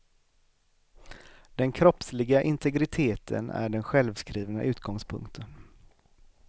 Den kroppsliga integriteten är den självskrivna utgångspunkten.